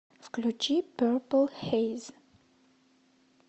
включи перпл хейз